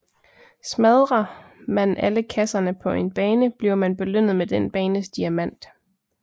Smadre man alle kasserne på en bane bliver man belønnet med den banes diamant